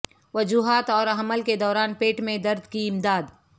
وجوہات اور حمل کے دوران پیٹھ میں درد کی امداد